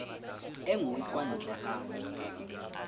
e nngwe kwa ntle ga